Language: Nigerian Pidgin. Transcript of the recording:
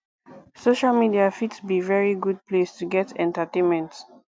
social media fit be very good place to get entertainment